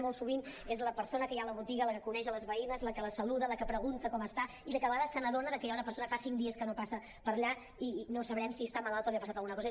molt sovint és la persona que hi ha a la botiga la que coneix les veïnes la que les saluda la que pregunta com està i la que de vegades se n’adona que hi ha una persona que fa cinc dies que no passa per allà i no sabem si està malalta o li ha passat alguna cosa